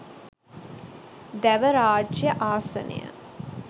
දැව රාජ්‍ය ආසනය